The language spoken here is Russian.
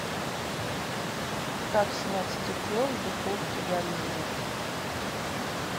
как снять стекло с духовки горения